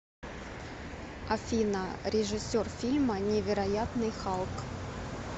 афина режиссер фильма невероятный халк